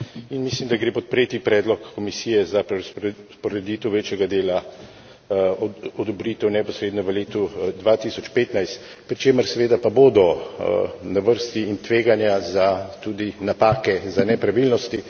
In mislim, da gre podpreti predlog Komisije za prerazporeditev večjega dela odobritev neposredno v letu 2015, pri čemer seveda pa bodo na vrsti in tveganja za tudi napake za nepravilnosti.